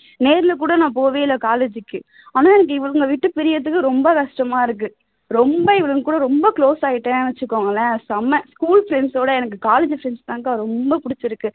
நேர்ல கூட நான் போகவே இல்ல college க்கு ஆனா எனக்கு இவளுங்கள விட்டு பிரியறதுக்கு ரொம்ப கஷ்டமா இருக்கு ரொம்ப இவளுங்க கூட ரொம்ப close ஆயிட்டேன்னு வச்சுக்கோங்களேன் செம school friends விட எனக்கு college friends தான் அக்கா ரொம்ப பிடிச்சிருக்கு